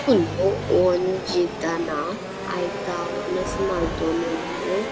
ಮೂಲು ಒಂಜಿ ದನ ಐತ ವನಸ್ ಮಲ್ತೊಂದು ಉಂಡು.